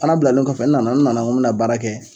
Fana bilalen kɔfɛ n nana n nana n ko me na baara kɛ